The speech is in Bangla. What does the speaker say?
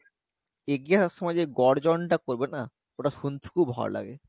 এগিয়ে আসার সময় যে গর্জন টা করবে না ওটা শুনতে খুব ভালো লাগে।